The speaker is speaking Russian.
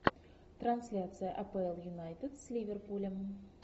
трансляция апл юнайтед с ливерпулем